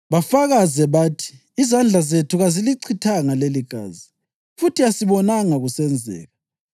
bafakaze bathi: ‘Izandla zethu kazilichithanga leligazi, futhi asibonanga kusenzeka.